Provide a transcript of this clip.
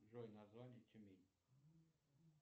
джой название тюмень